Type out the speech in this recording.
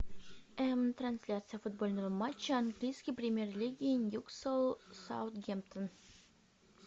трансляция футбольного матча английской премьер лиги ньюкасл саутгемптон